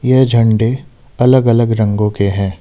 ये झंडे अलग अलग रंगों के हैं।